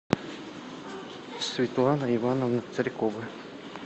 светлана ивановна царькова